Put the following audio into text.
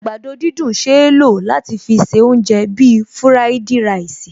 Àgbàdo dídùn ṣeé lò láti fi se oúnjẹ bíi fúráìdì ráìsì